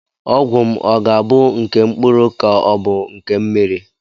Ọgwụ m ọ ga-abụ nke mkpụrụ ka ọ bụ nke mmiri?